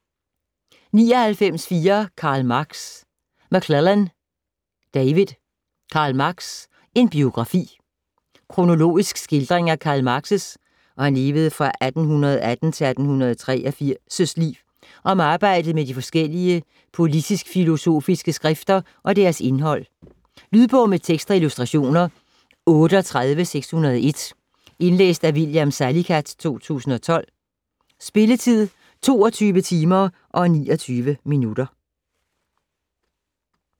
99.4 Marx, Karl McLellan, David: Karl Marx: en biografi Kronologisk skildring af Karl Marx' (1818-1883) liv, og om arbejdet med de forskellige politisk-filosofike skrifter og deres indhold. Lydbog med tekst og illustrationer 38601 Indlæst af William Salicath, 2012. Spilletid: 22 timer, 29 minutter.